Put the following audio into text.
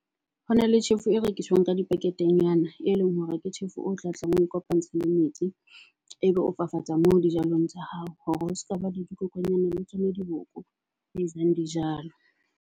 Ho na le tjhefu e rekiswang ka di packet-e nyana, e leng hore ke tjhefu o tla tlang o kopantsha le metsi. Ebe o fafatsa moo dijalong tsa hao. Hore ho sekaba le dikokonyana le tsona diboko, ba jang dijalo.